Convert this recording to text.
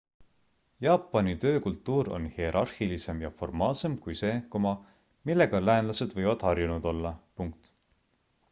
jaapani töökultuur on hierarhilisem ja formaalsem kui see millega läänlased võivad harjunud olla